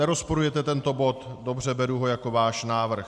Nerozporujete tento bod, dobře, beru ho jako váš návrh.